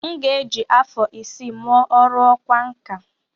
M ga-eji afọ isii mụọ ọrụ ọkwá nkà.